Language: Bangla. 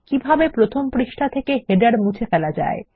কিভাবে প্রথম পৃষ্ঠা থেকে শিরোলেখ মুছে ফেলা যায়